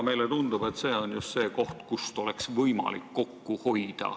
Meile tundub, et see on just see koht, kust oleks võimalik kokku hoida.